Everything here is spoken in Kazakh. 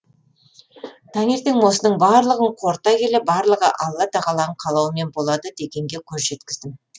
таңертең осының барлығын қорыта келе барлығы алла тағаланың қалауымен болады дегенге көз жеткіздім